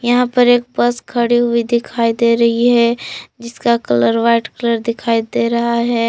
यहां पर एक बस खड़ी हुई दिखाई दे रही है जिसका कलर वाइट कलर दिखाई दे रहा है।